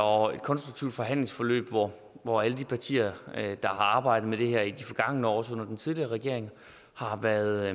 og et konstruktivt forhandlingsforløb hvor hvor alle de partier der har arbejdet med det her i de forgangne år også under den tidligere regering har været